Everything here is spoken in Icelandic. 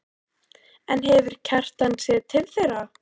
En hefur Kjartan séð til þeirra?